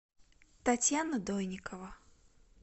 татьяна дойникова